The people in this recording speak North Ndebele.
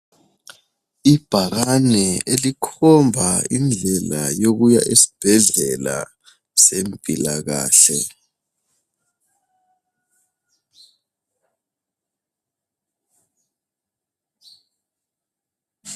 Ibhakane elikhomba indlela yokuya esibhedlela sempila kahle.